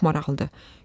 Çox maraqlıdır.